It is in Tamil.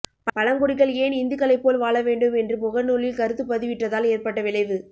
பழங்குடிகள் ஏன் இந்துக்களைப் போல் வாழ வேண்டும் என்று முகநூலில் கருத்து பதிவிட்டதால் ஏற்பட்ட விளைவு